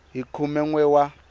hi khume n we wa